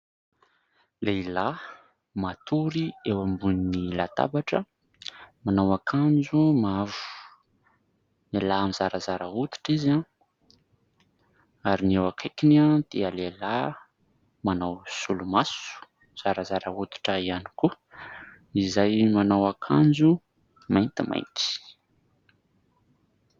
Lehilahy matory eo ambony latabatra, manao akanjo mavo. Lehilahy zarazara hoditra izy ary ny eo akaikiny dia lehilahy manao solomaso, zarazara hoditra ihany koa, izay manao akanjo maintimainty.